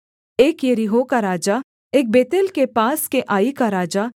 एक यरीहो का राजा एक बेतेल के पास के आई का राजा